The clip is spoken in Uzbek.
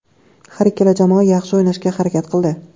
Har ikkala jamoa yaxshi o‘ynashga harakat qildi.